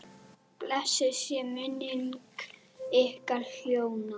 Blessuð sé minning ykkar hjóna.